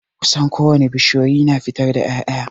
Kusan ko wane bishiyoyi na fitar da ya'ya.